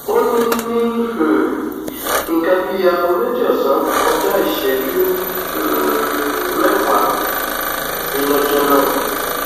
ó ní ní um nǹkan bíi aago méjì ọsán kọjá ìṣẹjú um mẹwàá ni lọjọ náà